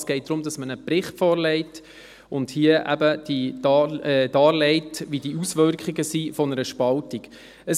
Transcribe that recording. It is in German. Es geht darum, dass man einen Bericht vorlegt und hier darlegt, wie die Auswirkungen einer Spaltung sind.